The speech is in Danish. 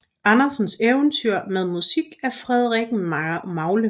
Andersens eventyr med musik af Frederik Magle